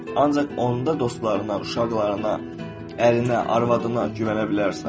Ancaq onda dostlarına, uşaqlarına, ərinə, arvadına güvənə bilərsən.